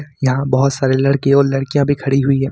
यहां बहुत सारे लड़के और लड़कियां भी खड़ी हुई है।